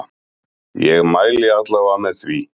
Ég mæli alla vega með því.